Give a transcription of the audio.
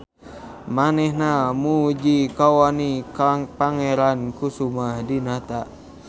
Manehna muji kawani Pangeran Kusumah Dinata.